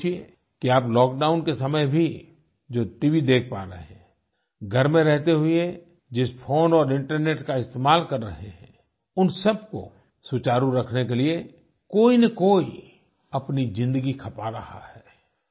ज़रा सोचिये कि आप लॉकडाउन के समय भी जो टीवी देख पा रहे हैं घर में रहते हुए जिस फोन और इंटरनेट का इस्तेमाल कर रहे हैं उन सब को सुचारू रखने के लिए कोई न कोई अपनी ज़िंदगी खपा रहा है